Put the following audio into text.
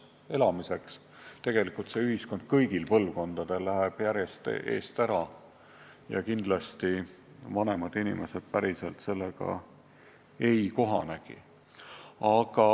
Tegelikult läheb see ühiskond mitmel põlvkonnal järjest eest ära ja kindlasti vanemad inimesed päriselt sellega ei kohanegi.